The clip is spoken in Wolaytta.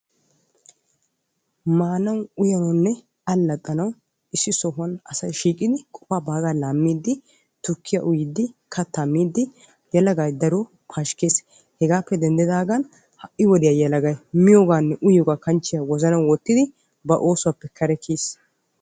Maanawu uyanawunne allaxanawu issi sohuwan asay shiiqidi qofa baagaa laammidi tukkiyaa uyidi kattaa miidi yelagay daro pashkkees. Hegappe denddidagan hai wodiya yelagay miyoganne uyiyoga kanchchiyan wozana wottidi ba oosuwaappe kare kiyiis.